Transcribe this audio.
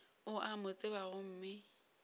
o a mo tseba gomme